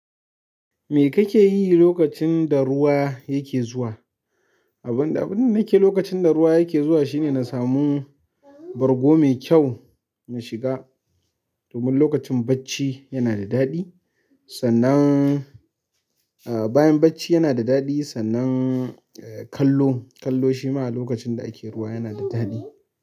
Me kake yi lokacin da ruwa yake zuwa? Abun da nike lokacin da ruwa yake zuwa shine na samu bargo mai kyau in shiga domin lokacin bacci yana da daɗi. Sannan, eh bayan bacci yana da daɗi, sannan eh kallo, kallo shi ma lokacin da ake ruwa yana da daɗi.